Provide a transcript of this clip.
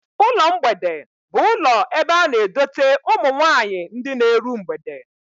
Ụlọ mgbede bụ ụlọ ebe a na-edote ụmụ nwaanyị ndị na-eru mgbede